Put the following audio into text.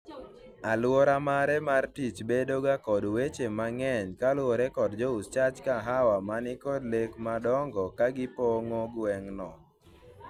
aluora mare mar tich bedo ga kod weche mang'eny koluwore kod jous chach kahawa manikod lek madongo ka gipong'o gweng'no